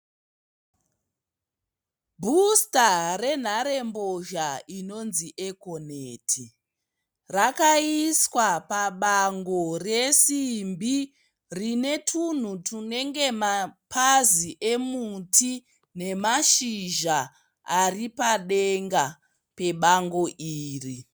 Bhusita renharembozha inonzi Econet. Rakaiswa pabango resimbi rine tunhu tunge mapazi emuti nemashizha ari padenga pebango iri.